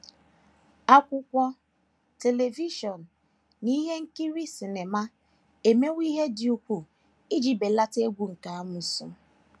Akwụkwọ, telivishọn, na ihe nkiri sịnịma emewo ihe dị ukwuu iji belata egwu nke amoosu.